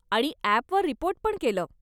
आणि ॲपवर रिपोर्ट पण केलं.